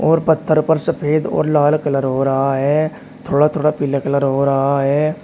और पत्थर पर सफेद और लाल कलर हो रहा है थोड़ा थोड़ा पीला कलर हो रहा है।